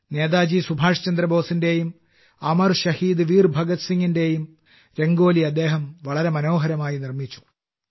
നേതാജി സുഭാഷ് ചന്ദ്രബോസിന്റെയും അമർ ശഹീദ് വീർ ഭഗത് സിംഗിന്റെയും രംഗോലി അദ്ദേഹം വളരെ മനോഹരമായി നിർമ്മിച്ചു